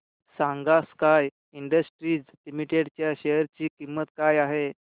सांगा Sky Industries Limited च्या share ची किंमत काय आहे